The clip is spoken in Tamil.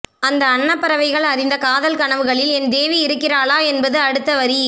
அந்த அன்னப்பறவைகள் அறிந்த காதல்கனவுகளில் என் தேவி இருக்கிறாளா என்பது அடுத்தவரி